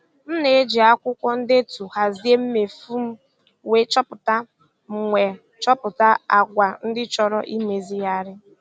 M na-eji akwụkwọ ndetu hazie mmefu m wee chọpụta m wee chọpụta àgwà ndị chọrọ imezigharị.